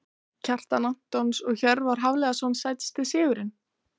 Kjartan Antons og Hjörvar Hafliðason Sætasti sigurinn?